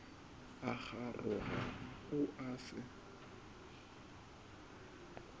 a kgaroga o a se